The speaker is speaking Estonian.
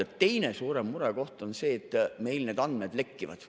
Ja teine suurem murekoht on see, et meil need andmed lekivad.